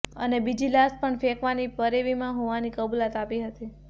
અને બીજી લાશ પણ ફેંકવાની પેરવીમાં હોવાની કબૂલાત આપી હતી